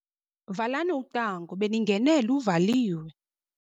Valani ucango beningene luvaliwe.